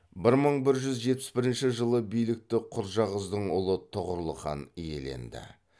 бір мың бір жүз жетпіс бірінші жылы билікті құрджақыздың ұлы тұғырыл хан иеленді